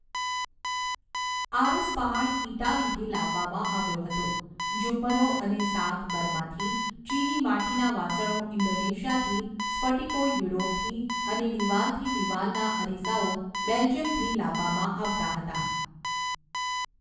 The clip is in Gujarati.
આરસપહાણ ઈટાલીથી લાવવામાં આવ્યો હતો, ઝુમ્મરો અને સાગ બર્માથી, ચીની માટીના વાસણો ઇન્ડોનેશિયાથી, સ્ફટિકો યુરોપથી અને દિવાલથી દિવાલના અરીસાઓ બેલ્જિયમથી લાવવામાં આવતા હતા.